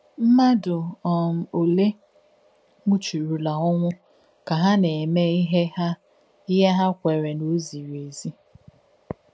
M̀madù um ólē nwụ̀chùrùlà ònwú kà hà nà-èmē íhe hà íhe hà kwèrē nà ó zìrí ézí?